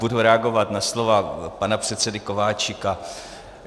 Budu reagovat na slova pana předsedy Kováčika.